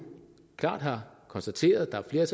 klart har konstateret at der er et